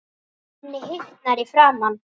Henni hitnar í framan.